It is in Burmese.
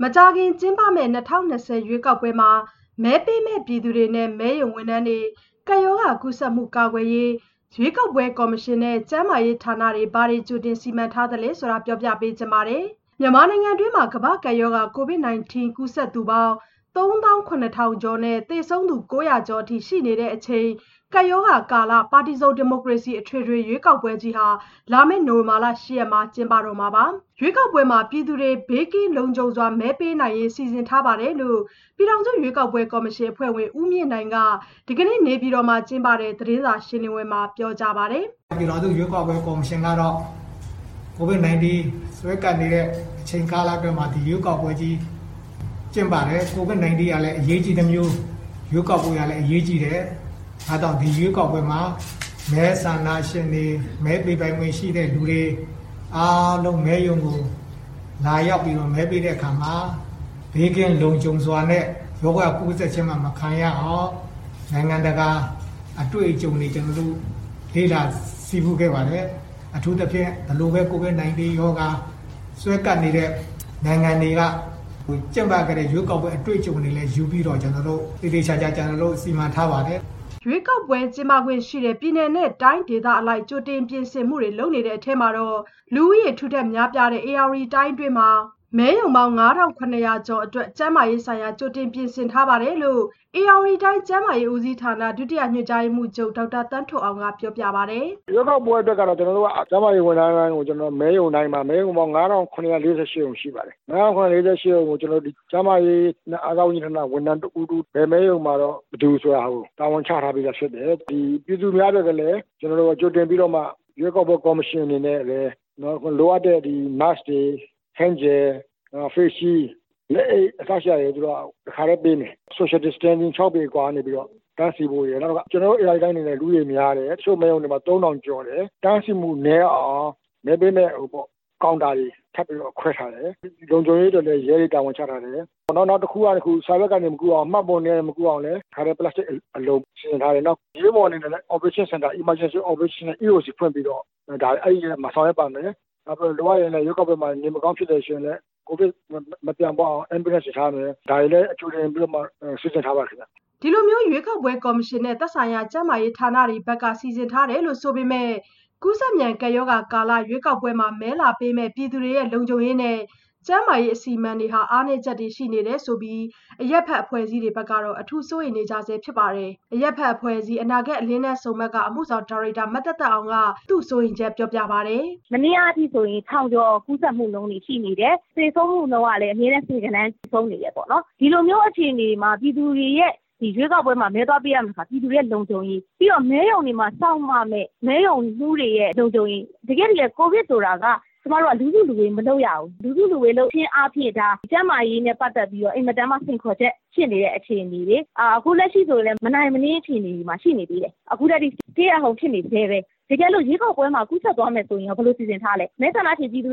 မကြာခင် ကျင်းပမယ့် ၂၀၂၀ ရွေးကောက်ပွဲမှာ မဲပေးမယ့်ပြည်သူတွေနဲ့ မဲရုံဝန်ထမ်းတွေ ကပ်ရောဂါကူးစက်မှု ကာကွယ်ရေးအတွက် ရွေးကောက်ပွဲကော်မရှင်နဲ့ ကျန်းမာရေးဌာနတွေ ဘာတွေကြိုတင်စီမံထားသလဲ ဆိုတာကို ဗွီအိုအေမြန်မာပိုင်းသတင်းထောက် မဆုမွန်က ပြောပြပေးပါမယ်။ "မြန်မာနိုင်ငံတွင်း ကမ္ဘာ့ကပ်ရောဂါ ကိုဗစ် ၁၉ ကူးစက်သူပေါင်း ၃၇,၀၀၀ ကျော်နဲ့ သေဆုံးသူ ၉၀၀ ကျော်အထိ ရှိနေတဲ့အချိန် ကပ်ရောဂါကာလ - ပါတီစုံ ဒီမိုကရေစီ အထွေထွေရွေးကောက်ပွဲကြီး လာမယ့် နိုဝင်ဘာလ ၈ ရက်နေ့မှာ ကျင်းပမှာပါ။ ရွေးကောက်ပွဲမှာပြည်သူတွေ ဘေးကင်းလုံခြုံစွာ မဲပေးနိုင်ရေး စီစဉ်ထားပါတယ်။" လို့ ပြည်ထောင်စုရွေးကောက်ပွဲကော်မရှင် အဖွဲ့ဝင် ဦးမြင့်နိုင်က ဒီကနေ့ နေပြည်တော်မှာ ကျင်းပတဲ့ သတင်းစာရှင်းလင်းပွဲမှာ ပြောကြားပါတယ်။ "ပြည်ထောင်စုရွေးကောက်ပွဲကော်မရှင်ကတော့ ကိုဗစ်၁၉ စွဲကပ်နေတဲ့အချိန်ကာလအတွင်းမှာ ရွေးကောက်ပွဲကို ကျင်းပတယ်။ ကိုဗစ်၁၉ ကလည်း အရေးကြီးသလို ရွေးကောက်ပွဲကလည်း အရေးကြီးတယ်။ ဒါကြောင့် ဒီရွေးကောက်ပွဲမှာ မဲဆန္ဒရှင်တွေ မဲပေးပိုင်ခွင့်ရှိတဲ့သူတွေ အားလုံး မဲရုံကို လာရောက်ပြီးတော့ မဲပေးတဲ့အခါမှာ ဘေးကင်းလုံခြုံစွာနဲ့ ရောဂါကူးစက်ခြင်း မခံရအောင်နိုင်ငံတကာ အတွေ့အကြုံတွေကို ကျနော်တို့ လေ့လာဆည်းပူးခဲ့ပါတယ်။ အထူးသဖြင့် ဘယ်လိုပဲ ကိုဗစ်၁၉ ရောဂါ စွဲကပ်နေတဲ့နိုင်ငံတွေမှာ ကျင်းပခဲ့တဲ့ အတွေ့အကြုံတွေကို ယူပြီးတော့ သေသေချာချာ ကျနော်တို့ စီမံထားပါတယ်။" ရွေးကောက်ပွဲ ကျင်းပခွင့်ရှိတဲ့ ပြည်နယ် တိုင်းဒေသအလိုက် ကြိုတင်ပြင်ဆင်မှုတွေ လုပ်နေတဲ့အထဲ လူဦးရေထူထပ် များပြားတဲ့ ဧရာဝတီတိုင်းတွင်းမှာ မဲရုံပေါင်း ၅,၇၀၀ ကျော်အတွက် ကျန်းမာရေးဆိုင်ရာ ကြိုတင်ပြင်ဆင် ထားပါတယ်လို့ဧရာဝတီတိုင်း ကျန်းမာရေးဦးစီးဌာန ဒုတိယညွှန်ကြားရေးမှူးချုပ် ဒေါက်တာသန်းထွဋ်အောင်က ပြောပြပါတယ်။ "ကျနော်တို့ ရွေးကောက်ပွဲအတွက်ကတော့ ကျန်းမာရေးဝန်ထမ်းတွေတိုင်းကို မဲရုံတိုင်းမှာ- မဲရုံပေါင်း ၅,၇၄၈ ရှိပါတယ်။ ၅,၇၄၈ ရုံမှာ ၁ ရုံကို ကျန်းမာရေးနဲ့ အားကစားဝန်ကြီးဌာနက ဝန်ထမ်း ၁ ဦး၊ ၁ ဦး စီ တာဝန်ချထားတယ်။ စီမံချက်တွေ ဆွဲပြီးတော့ ဘယ်မဲရုံမှာ ဘယ်သူဆိုတာ တာဝန်ချထားပေးတယ်။ ပြည်သူများအတွက် ကလည်း ကြိုတင်ပြီးတော့မှ ရွေးကောက်ပွဲကော်မရှင် အနေနဲ့ လိုအပ်တဲ့ Mask တွေ Hand Gel လက်သန့်စင်ဆေးရည်တွေ Face Shield လက်အိတ် အစရှိတာတွေ တခါတည်းပေးမယ်။ မဲရုံတွေမှာလည်း Social Distancing ၆ပေ အကွာကနေ တန်းစီဖို့ရယ်။ နောက်တခုက ကျနော်တို့ ဧရာဝတီတိုင်းက လူဦးရေအရမ်းများတယ်။ တချို့မဲရုံတွေမှာ ၃,၀၀၀ ကျော်တယ် အဲ့ဒီတော့ တန်းစီမှု နည်းအောင် မဲပေးမယ့်ကောင်တာတွေ ခွဲထားတယ်။ လုံခြုံရေးအတွက်လည်း ရဲတွေ တာဝန်ချထားတယ်။ နောက်တခုက စာရွက်ကနေ မကူးအောင် မှတ်ပုံတင်တွေကနေ မကူးအောင်လည်း တခါတည်း ပလက်စတစ်အလုံ ပိတ်ထားနိုင်ဖို့ လုပ်ထားတယ်။ အားလုံးတော့ ပြည့်စုံအောင်တော့ ကျနော်စီစဉ်ထားပါတယ်။ အရေးပေါ်ဖြစ်လာရင် အရေးပေါ်စင်တာ EOC (Emergency Operations Center) ဖွင့်ပြီးတော့အဲ့ရက်မှာ ဆောင်ရွက်ပါမယ်။ လိုအပ်လို့ ရွေးကောက်ပွဲမှာ နေမကောင်းဖြစ်လာရင်လည်း ကိုဗစ်မပြန့်ပွားရအောင် Ambulance တွေထားမယ် ဒါတွေကိုကြိုတင်ပြီး စီစဉ်ထားပါတယ်ခင်ဗျ။" ဒီလိုမျိုး ရွေးကောက်ပွဲကော်မရှင်နဲ့ သက်ဆိုင်ရာ ကျန်းမာရေးဌာနတွေဘက်က ဒီလိုစီစဉ်ထားတယ်ဆိုပေမဲ့ ကူးစက်မြန် ကပ်ရောဂါကာလ ရွေးကောက်ပွဲ မဲလာပေးမယ့်ပြည်သူတွေ လုံခြုံရေးနဲ့ ကျန်းမာရေး အစီအမံတွေ အားနည်းချက်တွေ ရှိနေတယ်ဆိုပြီး အရပ်ဘက်အဖွဲ့အစည်းတွေဘက်ကတော့ အထူးကိုစိုးရိမ်နေကြဆဲဖြစ်ပါတယ်။ အရပ်ဘက်အဖွဲ့အစည်း အနာဂတ်အလင်းတန်းဆုံမှတ်က အမှုဆောင်ဒါရိုက်တာ မသက်သက်အောင်က သူ့စိုးရိမ်ချက်ပြောပြပါတယ်။ "ကျမတို့ အခုလက်ရှိ မနေ့ကအထိကို ၁,၀၀၀ ကျော် ကူးစက်မှုရှိတယ်။ သေဆုံးမှုကလည်း အမြဲတမ်း ဆယ်ဂဏန်း သေဆုံးနေတယ်ပေါ့နော် ။ ဒီလိုမျိုး အခြေအနေမှာ ပြည်သူတွေက ရွေးကောက်ပွဲမှာ မဲသွားပေးရမယ့်အခါမှာ ပြည်သူတွေရဲ့ လုံခြုံရေး ပြီးတော့ တခါ မဲရုံတွေမှာ စောင့်ရမယ့် မဲရုံမှူးတွေရဲ့ လုံခြုံရေး ။တကယ့်တကယ် ကိုဗစ်ဖြစ်နေချိန်မှာက လူစုလူဝေးက လုပ်ကို မလုပ်ရဘူး။ လူစုလူဝေးလုပ်ခြင်းအားဖြင့် ကျန်းမာရေးအတွက် တကယ့်ကို အန္တရာယ်ရှိတဲ့ စိန်ခေါ်ချက်ဖြစ်နေတဲ့အခြေအနေလေ။ အခုလက်ရှိကလည်း မနိုင်မနင်းအခြေအနေတွေမှာ ရှိနေသေးတယ်။ အခုထက်ထိ Stay At Home ရှိနေဆဲပဲ။ တကယ်လို့ ရွေးကောက်ပွဲမှာ ကူးစက်သွားမယ်ဆိုရင်ရော ဘယ်လိုစီစဉ်ထားလဲ။ ဒီလိုအချိန်မှာ ရွေးကောက်ပွဲကို